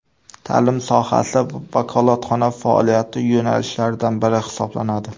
Ta’lim sohasi vakolatxona faoliyati yo‘nalishlaridan biri hisoblanadi.